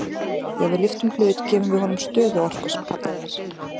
Þegar við lyftum hlut gefum við honum stöðuorku sem kallað er.